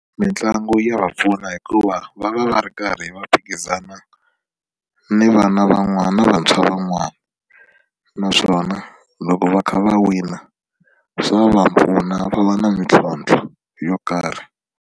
Mitlangu ya va pfuna hikuva va va va ri karhi va phikizana ni vana van'wana ni vantshwa van'wana naswona loko va kha va wina swa va pfuna va va na ntlhontlho yo karhi.